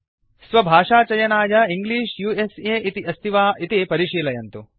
स्वभाषाचयनाय English US इति अस्ति वा इति परिशीलयन्तु